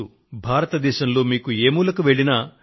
అదేమిటంటే భారతదేశంలో మీకు ఏ మూలకు వెళ్ళినా